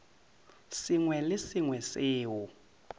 sengwe le se sengwe seo